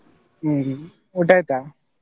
ಹ್ಮ್ ಹ್ಮ್ ಊಟ ಆಯ್ತಾ?